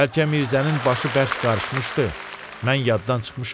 Bəlkə Mirzənin başı bərk qarışmışdı, mən yaddan çıxmışam.